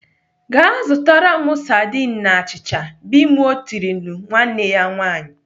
"Gaa zụtara m sardine na achịcha !" Bimoe tirile nwanne ya nwaanyị.